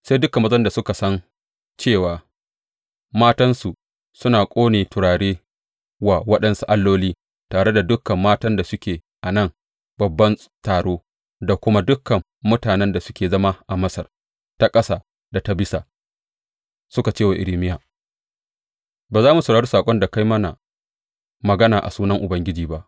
Sai dukan mazan da suka san cewa matansu suna ƙone turare wa waɗansu alloli, tare da dukan matan da suke a nan babban taro, da kuma dukan mutanen da suke zama a Masar ta Ƙasa da ta Bisa, suka ce wa Irmiya, Ba za mu saurari saƙon da ka yi mana magana a sunan Ubangiji ba!